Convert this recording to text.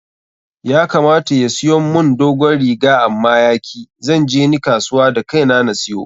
Ya kamata ya siyon mun dogon riga amma ya ki,. Zan je ni kasuwa da kai na na siyo.